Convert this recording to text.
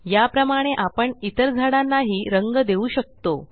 याप्रमाणे आपण इतर झाडांना हि रंग देऊ शकतो